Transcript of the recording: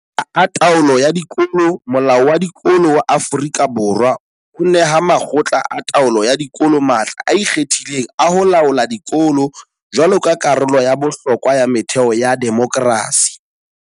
Matla a taolo ya dikolo Molao wa Dikolo wa Aforika Borwa o neha makgotla a taolo ya dikolo matla a ikgethileng a ho laola dikolo jwaloka karolo ya bohlokwa ya metheo ya demokerasi.